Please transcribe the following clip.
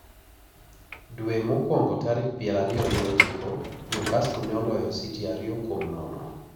Dwe mokwongo tarik pier ariyo gi ochiko, New Castle ne oloyo City ariyo kuom nono.